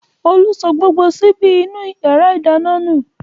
Olú sọ gbogbo ṣíbí inú ìyàrá-ìdáná nù.